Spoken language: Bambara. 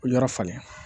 Yɔrɔ falen